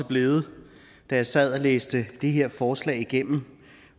blevet da jeg sad og læste det her forslag igennem